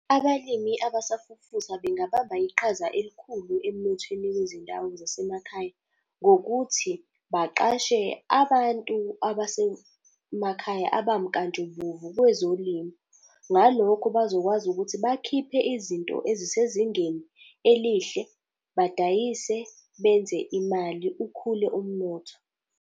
Abalimi abasafufusa bengabamba iqhaza elikhulu emnothweni wezindawo zasemakhaya, ngokuthi baqashe abantu abasemakhaya abamkantshubomvu kwezolimo. Ngalokho bazokwazi ukuthi bakhiphe izinto ezisezingeni elihle, badayise benze imali, ukhule umnotho.